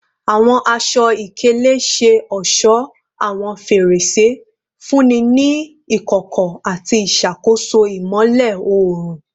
Awọn aṣọ-ikele ṣe ọṣọ awọn ferese, nfunni ni ikọkọ ati iṣakoso imọlẹ oorun